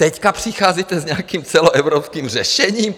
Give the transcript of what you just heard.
Teď přicházíte s nějakým celoevropským řešením?